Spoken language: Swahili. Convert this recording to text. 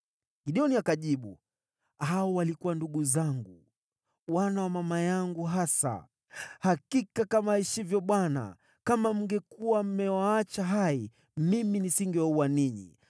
Gideoni akajibu, “Hao walikuwa ndugu zangu, wana wa mama yangu hasa. Hakika kama aishivyo Bwana , kama mngekuwa mmewaacha hai, mimi nisingewaua ninyi.”